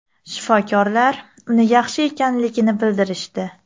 Shifokorlar uni yaxshi ekanligini bildirishdi.